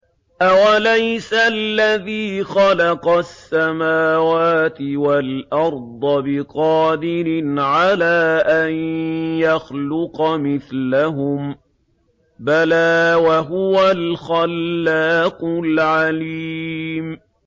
أَوَلَيْسَ الَّذِي خَلَقَ السَّمَاوَاتِ وَالْأَرْضَ بِقَادِرٍ عَلَىٰ أَن يَخْلُقَ مِثْلَهُم ۚ بَلَىٰ وَهُوَ الْخَلَّاقُ الْعَلِيمُ